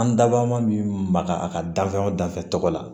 An dabɔ ma min maga a ka danfɛnw danfɛn tɔgɔ la